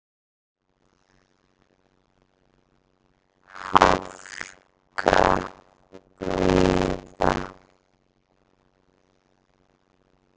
Hálka víða